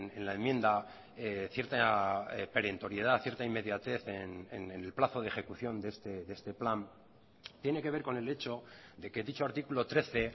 en la enmienda cierta perentoriedad cierta inmediatez en el plazo de ejecución de este plan tiene que ver con el hecho de que dicho artículo trece